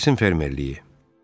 Saltersin fermerliyi.